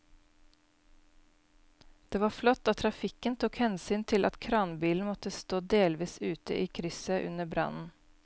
Det var flott at trafikken tok hensyn til at kranbilen måtte stå delvis ute i krysset under brannen.